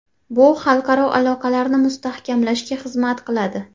Bu xalqaro aloqalarni mustahkamlashga xizmat qiladi.